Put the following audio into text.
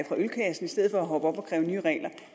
fra ølkassen i stedet for at hoppe op og kræve nye regler